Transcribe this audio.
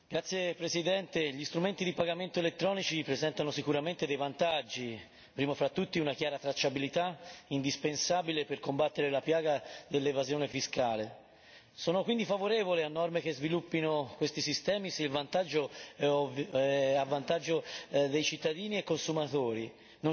Signor Presidente, onorevoli colleghi, gli strumenti di pagamento elettronici presentano sicuramente dei vantaggi, primo fra tutti una chiara tracciabilità che è indispensabile per combattere la piaga dell'evasione fiscale. Sono quindi favorevole a norme che sviluppino questi sistemi se il vantaggio è a